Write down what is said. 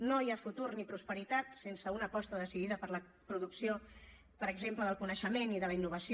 no hi ha futur ni prosperitat sense una aposta decidida per la producció per exemple del coneixement i de la innovació